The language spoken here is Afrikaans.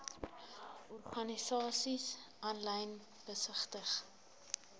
organisasies aanlyn besigtig